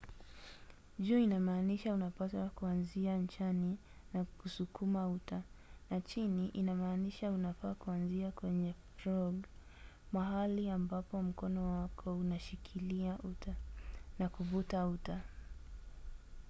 juu inamaanisha unapaswa kuanzia nchani na kusukuma uta na chini inamaanisha unafaa kuanzia kwenye frog mahali ambapo mkono wako unashikilia uta na kuvuta uta